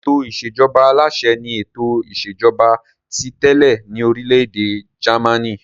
Ètò ìṣèjọba aláṣẹ ni ètò ìṣèjọba ti tẹ́lẹ̀ ní orílẹ̀-èdè Jámánì.